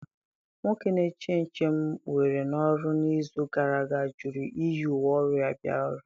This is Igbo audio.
Nwoke na-eche nche m were n'ọrụ n'izu gara aga jụrụ iyi uwe ọrụ ya bịa ọrụ.